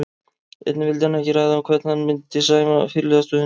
Einnig vildi hann ekki ræða um hvern hann myndi sæma fyrirliðastöðunni.